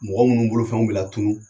Mɔgɔ minnu bolo fɛnw bɛ latunun